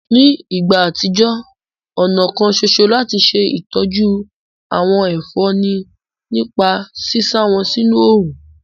Ní ìgbà àtijọ́, ọ̀nà kan soso láti ṣe ìtọ́jú àwọn ẹ̀fọ́ ni nípa sísá wọn sínú òrùn